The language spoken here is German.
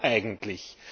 Warum eigentlich?